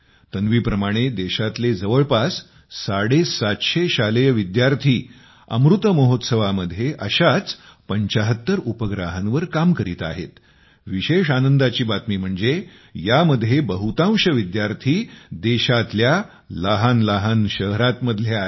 तन्वीप्रमाणे देशातले जवळपास साडेसातशे शालेय विद्यार्थी अमृत महोत्सवामध्ये अशाच 75 उपगृहावर काम करीत आहेत विशेष आनंदाची बातमी म्हणजे यामध्ये बहुतांश विद्यार्थी देशातल्या लहानलहान शहरांतले आहेत